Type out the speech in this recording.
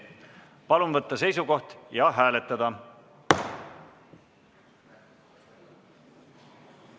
Palun võtta seisukoht ja hääletada!